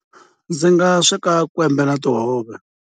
Ndzi nga sweka kwembe na tihove.